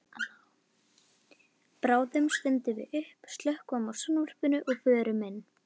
Bráðum stöndum við upp, slökkvum á sjónvarpinu og förum inn.